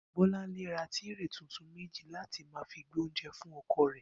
Bó̩lánlé ra tírè tuntun méjì láti máa fi gbé oúnje̩ fún o̩ko̩ rè̩